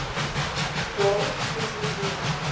daarop soos hierbo